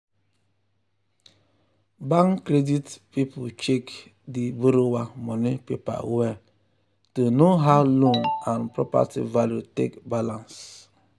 bank credit people check di borrower money paper well to know how loan and property value take balance.